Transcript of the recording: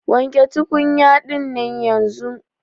Wanke tukunya dinnan yanzun.